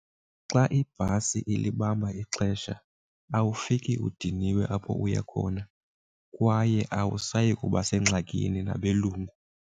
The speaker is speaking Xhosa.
Xa ibhasi ilibamba ixesha awufiki udiniwe apho uya khona kwaye awusayi kuba sengxakini nabelungu.